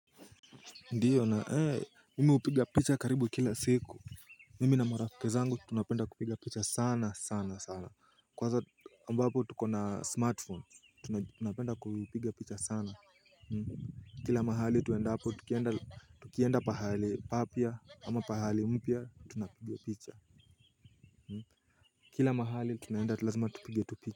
Ndiyo na ee mimi hupiga picha karibu kila siku. Mimi na marafiki zangu tunapenda kupiga picha sana sana sana, kwanza ambapo tuko na smartphone tunapenda kupiga picha sana kila mahali tuendapo tukienda pahali papya ama pahali mpya tunapiga picha. Kila mahali tunaenda tu lazima tupige tu.